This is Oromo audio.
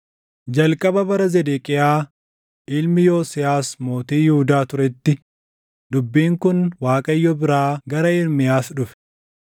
Jalqaba bara Zedeqiyaa ilmi Yosiyaas mootii Yihuudaa turetti dubbiin kun Waaqayyo biraa gara Ermiyaas dhufe: